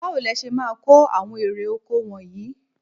Báwo le ṣe máa ko àwọn èrè-oko wọnyìí?